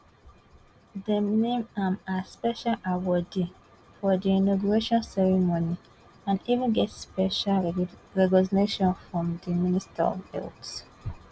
dem name am as special awardee for di inauguration ceremony and even get special recognition from di minister of health